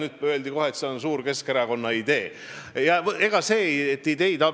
Selle peale öeldi kohe, et see on Keskerakonna suur idee.